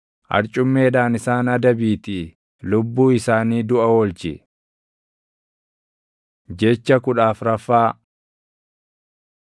Arcummeedhaan isaan adabiitii lubbuu isaanii duʼa oolchi. Jecha kudha afraffaa